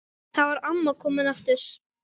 Þar var amma komin aftur.